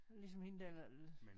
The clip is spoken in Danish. Ligesom hende der der